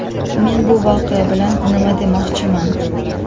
Men bu voqea bilan nima demoqchiman?